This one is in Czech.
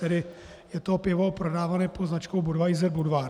Tedy je to pivo prodávané pod značkou Budweiser Budvar.